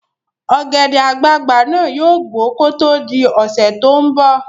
Ọ̀gẹ̀dẹ̀ àgbagbà náà yóò gbó kó tó di ọ̀sẹ́ tó ń bọ̀